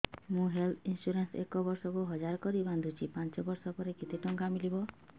ମୁ health insurance ଏକ ବର୍ଷକୁ ହଜାର କରି ବାନ୍ଧୁଛି ପାଞ୍ଚ ବର୍ଷ ପରେ କେତେ ଟଙ୍କା ମିଳିବ